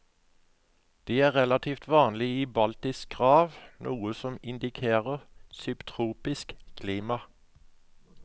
De er relaltivt vanlige i baltisk rav, noe som indikerer subtropisk klima.